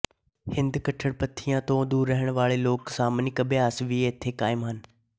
ਹਿੰਦੂ ਕੱਟੜਪੰਥੀਆਂ ਤੋਂ ਦੂਰ ਰਹਿਣ ਵਾਲੇ ਲੋਕ ਸ਼ਾਮਨਿਕ ਅਭਿਆਸ ਵੀ ਇਥੇ ਕਾਇਮ ਹਨ